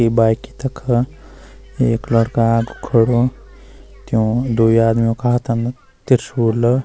ये बाइके तखा एक लड़का आगू खडू त्यूं द्वि आदमीयों का हाथम त्रिशूल।